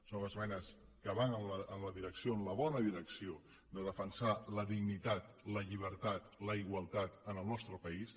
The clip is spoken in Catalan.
són esmenes que van en la direcció en la bona direcció de defensar la dignitat la llibertat la igualtat en el nostre país